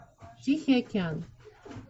тихий океан